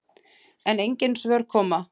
. en engin svör koma.